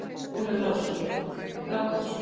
Ólafur Lárusson: Grágás